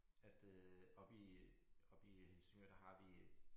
At øh oppe i oppe i Helsingør der har vi et